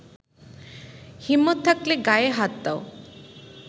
হিম্মত থাকলে গায়ে হাত দাও।